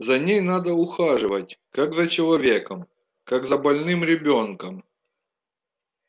за ней надо ухаживать как за человеком как за больным ребёнком